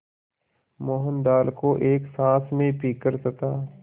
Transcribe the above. मोहन दाल को एक साँस में पीकर तथा